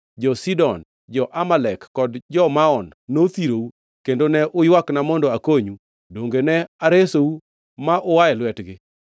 jo-Sidon, jo-Amalek kod jo-Maon nothirou kendo ne uywakna mondo akonyu, donge ne aresou ma ua e lwetgi?